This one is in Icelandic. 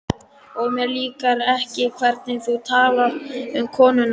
Og mér líkar ekki hvernig þú talar um konuna mína